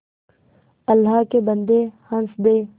अल्लाह के बन्दे हंसदे